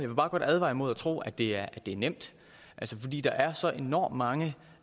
vil bare godt advare imod at tro at det er nemt fordi der er så enormt mange